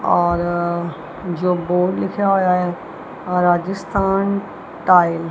ਔਰ ਜੋ ਬੋਰਡ ਲਿਖਿਆ ਹੋਇਆ ਆ ਰਾਜਸਥਾਨ ਟਾਇਲ --